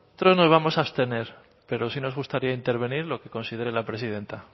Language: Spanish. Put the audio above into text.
nosotros nos vamos a abstener pero sí nos gustaría intervenir lo que considere la presidenta